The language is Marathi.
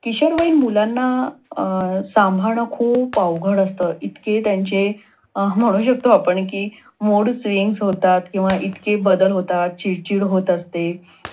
किशोरवयीन मुलांना अं संभाषण खूप अवघड असत. इतके त्यांचे आपण म्हणू शकतो, आपण कि mood swings होतात किंवा इतके बदल होतात, कि चिडचिड होत असते.